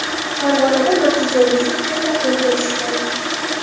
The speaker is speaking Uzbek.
Farg‘onada Matiz o‘g‘risi tezda qo‘lga tushdi.